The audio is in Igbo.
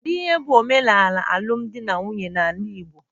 Kedu ihe bụ omenala alụm di na nwunye n'ala igbo?